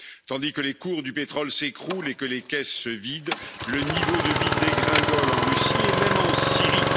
Tandis que les cours du pétrole s'écroulent et que les caisses se vident, le niveau de vie dégringole en Russie et même en Syrie.